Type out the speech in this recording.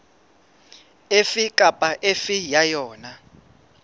efe kapa efe ya yona